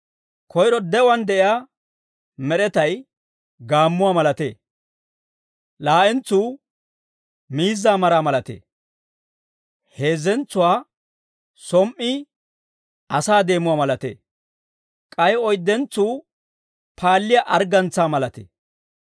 Koyro de'uwaan de'iyaa med'etay gaammuwaa malatee; laa'entsuu miizzaa maraa malatee; heezzentsuwaa som"i asaa deemuwaa malatee; k'ay oyddentsuu paalliyaa arggantsaa malatee.